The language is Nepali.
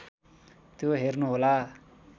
त्यो हेर्नुहोला